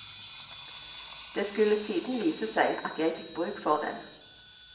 Det skulle siden vise seg at jeg fikk bruk for den.